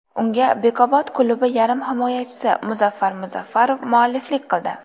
Unga Bekobod klubi yarim himoyachisi Muzaffar Muzaffarov mualliflik qildi.